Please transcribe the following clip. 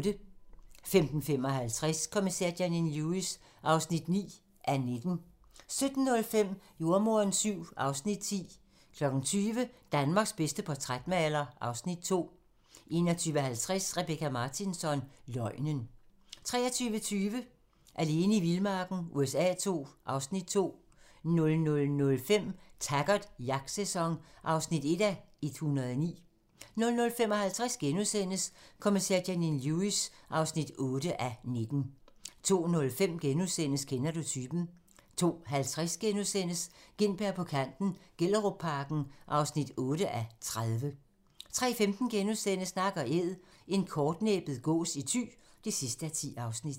15:55: Kommissær Janine Lewis (9:19) 17:05: Jordemoderen VII (Afs. 10) 20:00: Danmarks bedste portrætmaler (Afs. 2) 21:50: Rebecka Martinsson: Løgnen 23:20: Alene i vildmarken USA II (Afs. 2) 00:05: Taggart: Jagtsæson (1:109) 00:55: Kommissær Janine Lewis (8:19)* 02:05: Kender du typen? * 02:50: Gintberg på kanten - Gellerupparken (8:30)* 03:15: Nak & Æd - en kortnæbbet gås i Thy (10:10)*